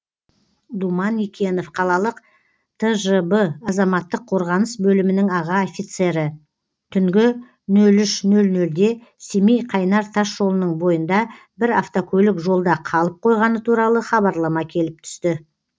думан икенов қалалық тжб азаматтық қорғаныс бөлімінің аға офицері түнгі нөл үш нөл нөлде семей қайнар тасжолының бойында бір автокөлік жолда қалып қойғаны туралы хабарлама келіп түсті